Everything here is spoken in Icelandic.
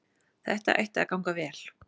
Þetta ætti að ganga vel